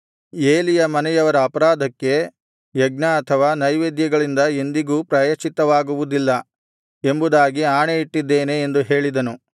ಏಲಿಯ ಮನೆಯವರ ಅಪರಾಧಕ್ಕೆ ಯಜ್ಞ ಅಥವಾ ನೈವೇದ್ಯಗಳಿಂದ ಎಂದಿಗೂ ಪ್ರಾಯಶ್ಚಿತ್ತವಾಗುವುದಿಲ್ಲ ಎಂಬುದಾಗಿ ಆಣೆಯಿಟ್ಟಿದ್ದೇನೆ ಎಂದು ಹೇಳಿದನು